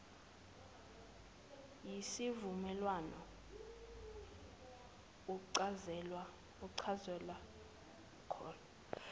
yisivumelwano uchazelwe kona